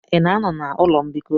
Ị na-anọ na ụlọ mbikọ?